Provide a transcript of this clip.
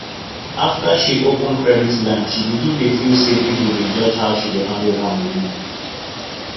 after she open credit line she begin dey feel say people dey judge how she dey handle her money